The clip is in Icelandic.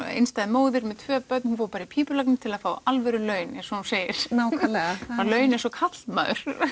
einstæð móðir með tvö börn hún fór í pípulagnir til að fá alvöru laun eins og hún segir nákvæmlega fá laun eins og karlmaður